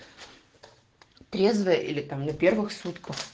трезвая или там на первых сутках